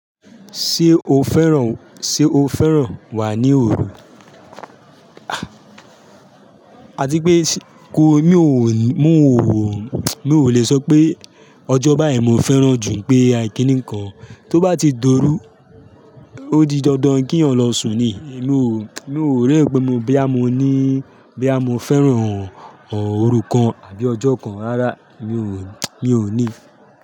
Ṣé o fẹ́ràn, ṣe o fẹ́ràn wà ní òru? Àti pé kó mi ò mú ò wò, mi ò le sọ pé ọjọ́ báyìí mo fẹ́ràn jù pé àìkíní kan, tó bá ti d'óru, ó di dandan kí ọ̀ń lọ sùn ni, mi ò, mi ò rí pé bí a mo ní, bí a mo fẹ́ràn òru kan àbí ọjọ́ kan rárá, mi ò, mi ò ní.